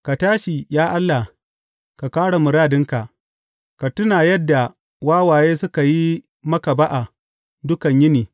Ka tashi, ya Allah, ka kāre muradinka; ka tuna yadda wawaye suka yi maka ba’a dukan yini.